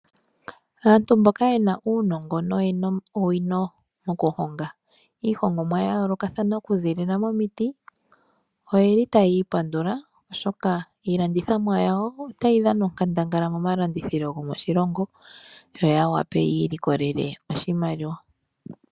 Aantu mboka ye na uunongo noyena owino okuhonga iihongomwa ya yoolokathana okuzilila momiti, oye li taya ipandula oshoka iilandithomwa yawo otayi dhana onkandangala momalandithilo gwoshilongo yo ya wape yiilikolele oshimaliwa.